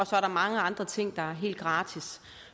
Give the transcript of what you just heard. så er mange andre ting der er helt gratis